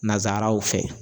Nasaraw fɛ.